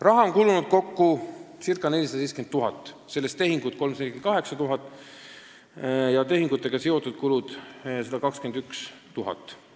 " Raha on kulunud kokku ca 470 000 eurot, sellest tehinguteks 348 000 ja tehingutega seotud kulude katmiseks 121 000 eurot.